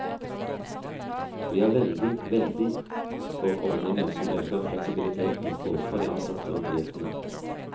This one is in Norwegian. Vi er veldig, veldig for ordninger som øker fleksibiliteten både for de ansatte og bedriftene.